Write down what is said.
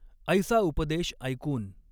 ऎसा उपदेश ऎकून।